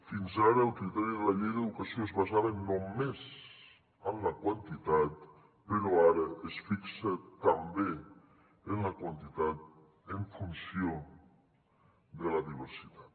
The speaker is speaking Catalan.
fins ara el criteri de la llei d’educació es basava només en la quantitat però ara es fixa també en la quantitat en funció de la diversitat